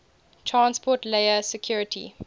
transport layer security